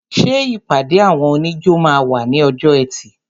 Ṣé ìpàdé àwọn oníjó máa wà ní ọjọ́ ẹtì?